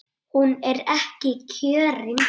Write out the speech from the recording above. Hún er ekki kjörin.